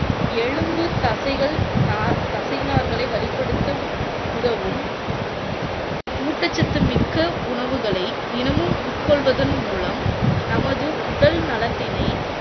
எலும்பு, தசைகள், நார்~ தசை நார்களை வலிப்படுத்த உதவும் ஊட்டச்சத்து மிக்க உணவுகளை தினமும் உட்கொள்வதன் மூலம், நமது உடல் நலத்தினை